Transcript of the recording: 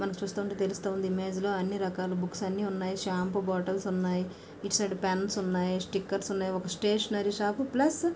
మనకి చూస్తూ ఉంటె తెలుస్తుంది ఇమేజ్ లో అన్ని రకాల బుక్స్ అన్ని ఉన్నాయి షాంపూ బొట్టిల్స్ ఉన్నాయ్ ఇటు సైడ్ పెన్స్ ఉన్నాయి. స్టిక్కర్స్ ఉన్నాయి. ఒక స్టేషనరీ షాప్ ప్లస్ --